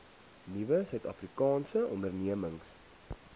nuwe suidafrikaanse ondernemings